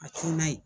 A ti n'a ye